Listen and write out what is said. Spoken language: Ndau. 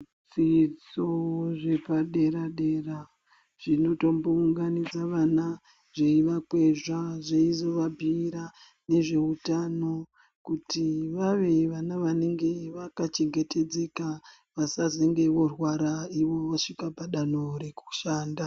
Zvidzidzo zvepa dera dera zvino tombo unganidza vana zveiva kwezva zveizova bhuyira nezve utano kuti vave vana vanenge vaka chengetedzeka vasazenge vorwara ivo vasvika pa danho reku shanda.